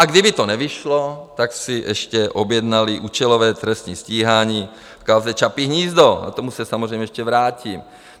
A kdyby to nevyšlo, tak si ještě objednali účelové trestní stíhání v kauze Čapí hnízdo, k tomu se samozřejmě ještě vrátím.